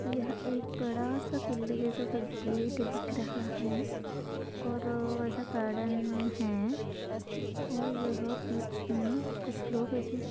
यह एक बड़ासा किल्ले जैसा गेट दिख रहा है और ऐसा गार्डेन है और यहा बीच मे कुछ लोग ऐसे--